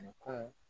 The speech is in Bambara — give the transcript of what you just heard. Ni kun